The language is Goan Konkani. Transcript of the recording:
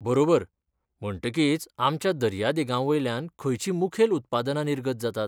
बरोबर! म्हणटकीच आमच्या दर्यादेगांवयल्यान खंयचीं मुखेल उत्पादनां निर्गत जातात?